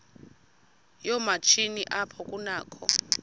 yoomatshini apho kunakho